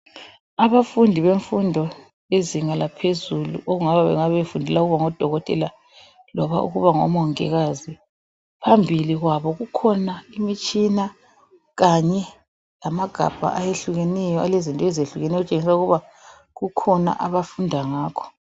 Abafundi bemfundo yezinga laphezulu okungabe befundela ukuba ngodokotela loba ukuba ngomongikazi. Phambili kwabo kukhona imitshina Kanye lamagabha ayehlukeneyo alezinto ezehlukeneyo okutshengisela ukuba bengabe befunda ngakho